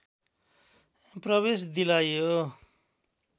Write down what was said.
प्रवेश दिलाइयो